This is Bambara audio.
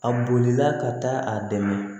A bolila ka taa a dɛmɛ